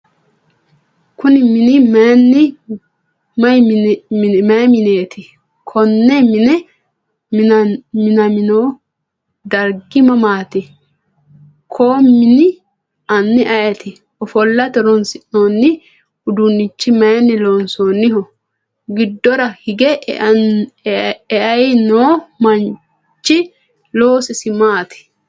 Kuni mini mayi minet? Koni mini minamino darigi maat? Koo mini ani ayiti? Ofolate horonisinoni udunichi mayini losaminoho? Gidora hige e’eayino manchi loosisi mati